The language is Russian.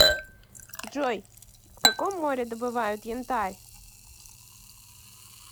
джой в каком море добывают янтарь